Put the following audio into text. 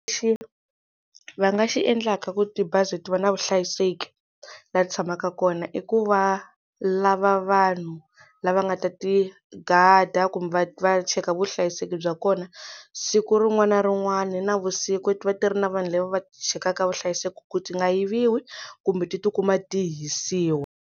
Lexi va nga xi endlaka ku tibazi ti va na vuhlayiseki laha ti tshamaka kona i ku va lava vanhu lava nga ta ti gada kumbe va va cheka vuhlayiseki bya kona siku rin'wana na rin'wana navusiku ti va ti ri na vanhu lava va chekaka vuhlayiseki ku ti nga yiviwa kumbe ti tikuma ti hisiwa.